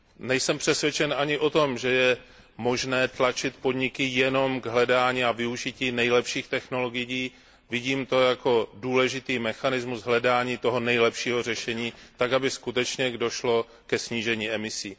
Nejsem přesvědčen ani o tom, že je možné tlačit podniky jenom k hledání a využití nejlepších technologií, vidím to jako důležitý mechanismus hledání toho nejlepšího řešení, tak aby skutečně došlo ke snížení emisí.